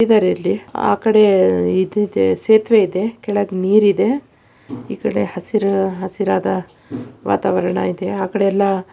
ಇದ್ರಲ್ಲಿ ಆ ಕಡೆ ಇದು ಇದೆ ಸೇತುವೆ ಇದೆ ಕೆಳಗೆ ನೀರು ಇದೆ. ಈ ಕಡೆ ಹಸಿರ ಹಸಿರಾದ ವಾತಾವರಣ ಇದೆ ಆ ಕಡೆ ಎಲ್ಲಾ --